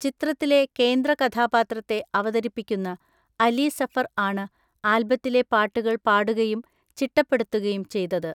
ചിത്രത്തിലെ കേന്ദ്രകഥാപാത്രത്തെ അവതരിപ്പിക്കുന്ന അലി സഫർ ആണ് ആൽബത്തിലെ പാട്ടുകൾ പാടുകയും ചിട്ടപ്പെടുത്തുകയും ചെയ്തത്.